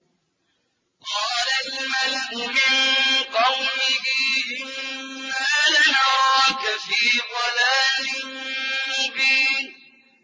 قَالَ الْمَلَأُ مِن قَوْمِهِ إِنَّا لَنَرَاكَ فِي ضَلَالٍ مُّبِينٍ